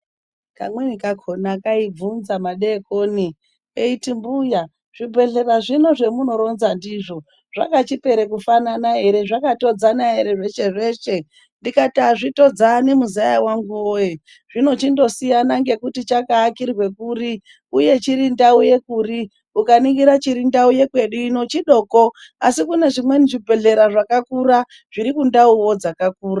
Kamweni kakhona kaibvunza madeikoni, keiti mbuya zvibhehlera zvino zvemunoronza ndizvo zvakachipera kufanana ere, zvakatodzana ere zveshe zveshe ndikati azvitodzani muzaya wangu woye, zvinochindosiyana ngekuti chakaakirwe kuri uye chiri ndau yekuri, ukaningira chiri ndau yekwedu ino chidoko asi kune zvimweni zvibhehlera zvakakura, zviri kundauwo dzakakura.